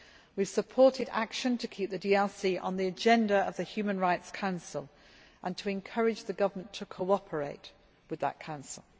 We have supported action to keep the DRC on the agenda of the Human Rights Council and to encourage the government to cooperate with that council.